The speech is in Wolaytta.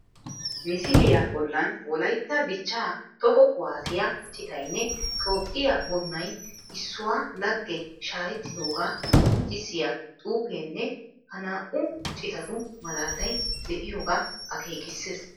Misiliya bollan wolaytta dichchaa toho kuwaasiya citaynne toophphiya bunnay issuwa lagge shaahettidoogaa qoncvissiya xuufeenne ha naa''u citatu malaatay de'iyogaa akeekissees